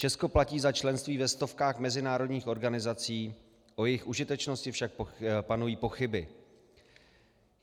Česko platí za členství ve stovkách mezinárodních organizací, o jejich užitečnosti však panují pochyby.